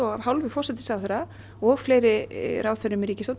af hálfu forsætisráðherra og fleiri ráðherrum í ríkisstjórn